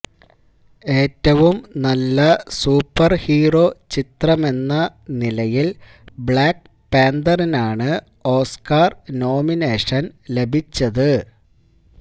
ഏറ്റവും നല്ല super hero ചിത്രമെന്ന നിലയിൽ ബ്ളാക്ക് പാന്തറിനാണ് ഓസ്കർ നോമിനേഷൻ ലഭിച്ചത്